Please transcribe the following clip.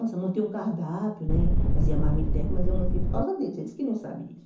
Nossa, montei um cardápio, né fazia marmitex, mas eu montei por causa deles, eles que não sabem disso.